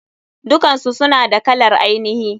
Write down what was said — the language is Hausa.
Dukansu suna da kalar ainihi.